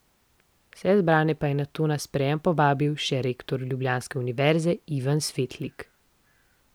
Vse zbrane pa je nato na sprejem povabil še rektor ljubljanske univerze Ivan Svetlik.